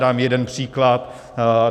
Dám jeden příklad.